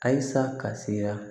Ayisa ka sira